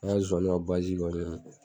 An zozaniw ka kɔni